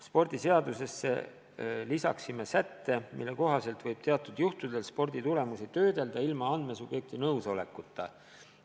Spordiseadusesse lisaksime sätte, mille kohaselt võib teatud juhtudel sporditulemusi töödelda ilma andmesubjekti nõusolekuta.